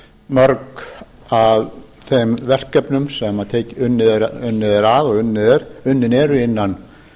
mörg af þeim verkefnum sem unnið er að og unnin eru innan